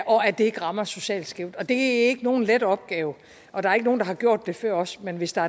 og at det ikke rammer socialt skævt det er ikke nogen let opgave og der er ikke nogen der har gjort det før os men hvis der